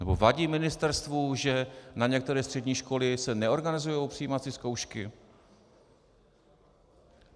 Nebo vadí ministerstvu, že na některé střední školy se neorganizují přijímací zkoušky?